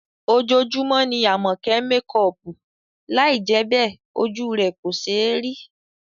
Ojoojúmọ́ ni Àmọ̀kẹ́ ń mekọọ̀pù, lai jẹ́ bẹ́ẹ̀, ojú rẹ̀ kò ṣéé rí